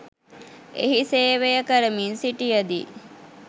එහි සේවය කරමින් සිටියදී